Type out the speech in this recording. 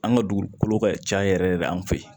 An ka dugukolo ka ca yɛrɛ yɛrɛ de an fɛ yen